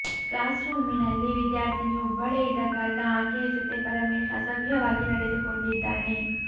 class ರೂಮಿನಲ್ಲಿ ವಿದ್ಯಾರ್ಥಿನಿ ಒಬ್ಬಳೇ ಇದ್ದ ಕಾರಣ ಆಕೆಯ ಜೊತೆ ಪರಮೇಶ್ ಅಸಭ್ಯವಾಗಿ ನಡೆದುಕೊಂಡಿದ್ದಾನೆ